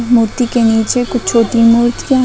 मूर्ति के नीचे कुछ छोटी मूर्तियां है।